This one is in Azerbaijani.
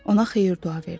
Ona xeyir-dua verdi.